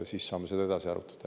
Siis saame seda edasi arutada.